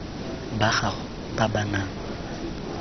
ba gago ba ba nang